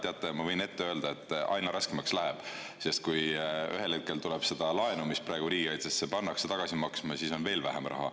Teate, ma võin öelda, et aina raskemaks läheb, sest kui ühel hetkel tuleb seda laenu, mis praegu riigikaitsesse pannakse, tagasi maksma hakata, siis on meil veel vähem raha.